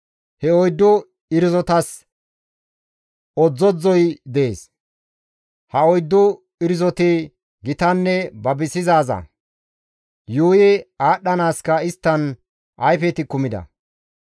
He oyddu irzotas odzdzodzdzoy dees; ha oyddu irzoti gitanne babisizaaza; yuuyi aadhdhanaaska isttan ayfeti kumida.